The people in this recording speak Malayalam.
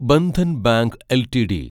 Bandhan bank LTD